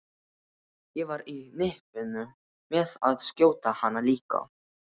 Ég var á nippinu með að skjóta hana líka.